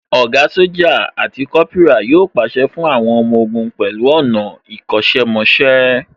Ògá Sójà àti Kópírà yóò pàṣẹ fún àwọn ọmọ ogun pẹ̀lú ọ̀nà ìkọ́ṣẹ́ mọṣẹ́